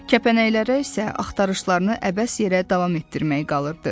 Kəpənəklərə isə axtarışlarını əbəs yerə davam etdirmək qalırdı.